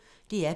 DR P1